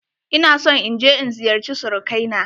Ina son in je in ziyarce surukai na.